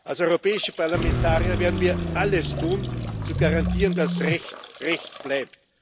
Als europäische Parlamentarier werden wir alles tun, um zu garantieren, dass Recht Recht bleibt.